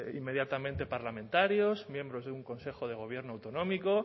inmediatamente parlamentarios miembros de un consejo de gobierno autonómico